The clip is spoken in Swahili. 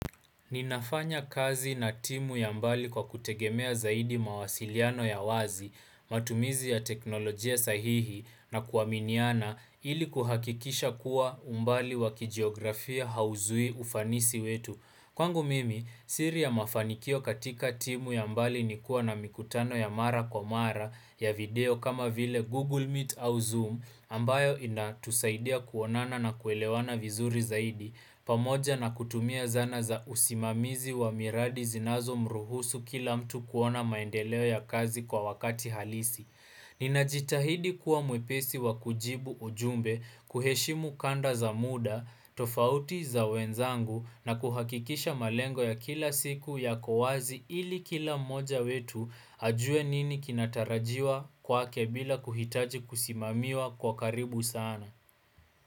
Ninafanya kazi na timu ya mbali kwa kutegemea zaidi mawasiliano ya wazi, matumizi ya teknolojia sahihi na kuaminiana ili kuhakikisha kuwa umbali wakijiografia hauzui ufanisi wetu. Kwangu mimi siri ya mafanikio katika timu ya mbali ni kuwa na mikutano ya mara kwa mara ya video kama vile Google Meet au Zoom ambayo inatusaidia kuonana na kuelewana vizuri zaidi pamoja na kutumia zana za usimamizi wa miradi zinazo mruhusu kila mtu kuona maendeleo ya kazi kwa wakati halisi. Nina jitahidi kuwa mwepesi wa kujibu ujumbe, kuheshimu kanda za muda, tofauti za wenzangu na kuhakikisha malengo ya kila siku yako wazi ili kila moja wetu ajue nini kinatarajiwa kwake bila kuhitaji kusimamiwa kwa karibu sana.